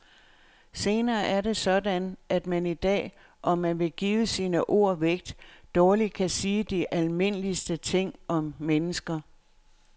Snarere er det sådan at man i dag, om man vil give sine ord vægt, dårligt kan sige de almindeligste ting om mennesker.